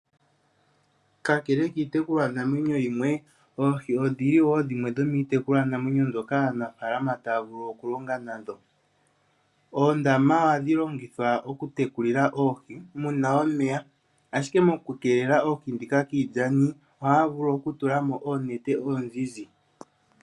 Kakele kiitekulwa namwenyo yimwe, Oohi odhili wo dhimwe dho miitekulwa namwenyo mbyoka aanafaalama taya vulu oku longa nadho. Oondama ohadhi longithwa oku tekulila Oohi, muna omeya, ashike oku keelela oohi dhika kiilyana ohaya vulu oku tula mo oonete oozizi.